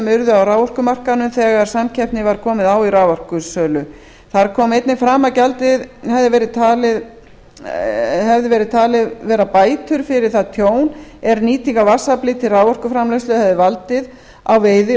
urðu á raforkumarkaðnum þegar samkeppni var komið á í raforkusölu þá kom einnig fram að gjaldið hefði verið talið vera bætur fyrir það tjón er nýting á vatnsafli til raforkuframleiðslu hefði valdið á veiði